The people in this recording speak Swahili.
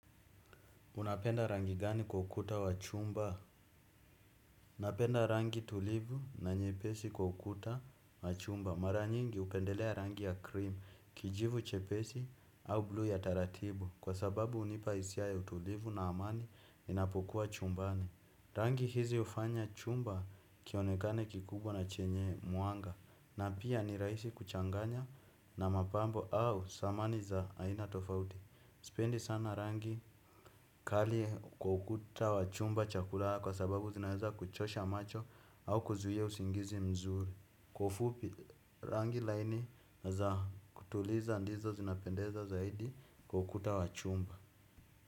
Unapenda rangi gani kwa ukuta wa chumba? Napenda rangi tulivu na nyepesi kwa ukuta wa chumba. Mara nyingi upendelea rangi ya krim, kijivu chepesi au bluu ya taratibu. Kwa sababu unipa isia ya utulivu na amani ninapokuwa chumbani. Rangi hizi ufanya chumba kionekane kikubwa na chenye mwanga. Na pia ni raisi kuchanganya na mapambo au samani za aina tofauti. Sipendi sana rangi kali kwa ukuta wa chumba cha kulaa kwa sababu zinaweza kuchosha macho au kuzuhia usingizi mzuri. Kwa ufupi rangi laini za kutuliza ndizo zinapendeza zaidi kwa ukuta wa chumba.